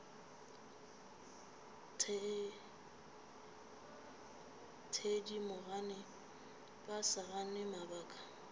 thedimogane ba sa gane mabaka